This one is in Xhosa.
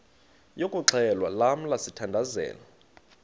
yokuxhelwa lamla sithandazel